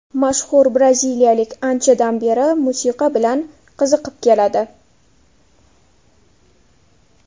Mashhur braziliyalik anchadan beri musiqa bilan qiziqib keladi.